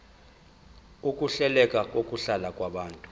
ukuhleleka kokuhlala kwabantu